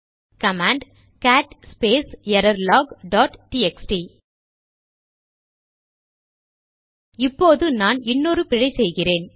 command cat space error log dot TXT இப்போது நான் இன்னொரு பிழை செய்கிறேன்